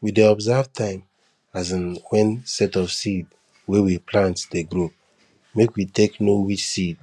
we dey observe time um when set of seed wey we plant dey grow make we take know which seed